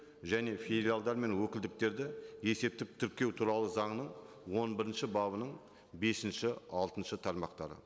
және филиалдар мен өкілдіктерді есептік тіркеу туралы заңның он бірінші бабының бесінші алтыншы тармақтары